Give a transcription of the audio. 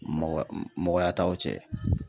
Mɔgɔ mɔgɔya t'aw cɛ.